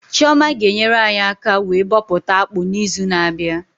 Chioma ga enyere anyị aka wee bọpụta akpụ na izu na abịa